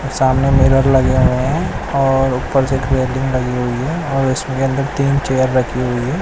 सामने मिरर लगे हुए हैं और ऊपर से रेलिंग लगी हुई है और उसमें अंदर तीन चेयर रखी हुई है।